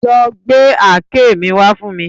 Lọ gbé àáké mi wá fún mi